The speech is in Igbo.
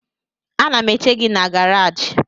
Ana m eche gị na garaji